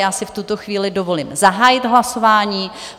Já si v tuto chvíli dovolím zahájit hlasování.